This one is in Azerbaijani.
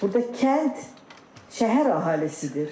Burda kənd, şəhər əhalisidir.